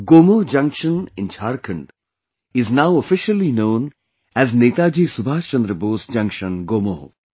Gomoh Junction in Jharkhand is now officially known as Netaji Subhas Chandra Bose Junction Gomoh